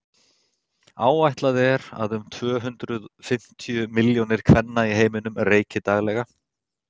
áætlað er að um tvö hundruð fimmtíu milljónir kvenna í heiminum reyki daglega